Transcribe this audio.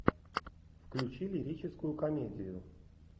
включи лирическую комедию